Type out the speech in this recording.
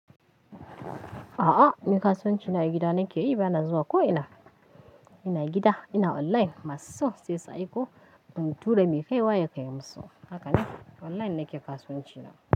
A'a ni kasuwanci na a gida nake yi, bana zuwa ko ina. Ina gida ina online masu so sai in tura mai kaiwa ya kai musu. Haka neke online nake kasuwanci na.